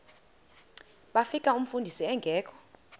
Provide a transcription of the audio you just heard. bafika umfundisi engekho